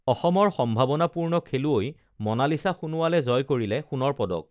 অসমৰ সম্ভাৱনাপূৰ্ণ খেলুৱৈ মনালিচা সোনোৱালে জয় কৰিলে সোনৰ পদক